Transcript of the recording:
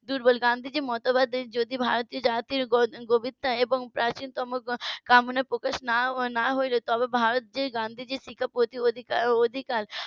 দুর্বল আর গান্ধীজির মতবাদে যদি ভারতে জাতির গভীরতা এবং . প্রকাশ না হইলে তবে ভারত যে গান্ধীজির প্রতি অধিক~ অধিকার